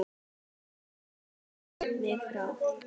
Hvað lést þú mig fá?